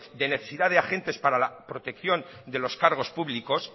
de necesidad de agentes para la protección de los cargos públicos